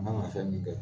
An kan ka fɛn min kɛ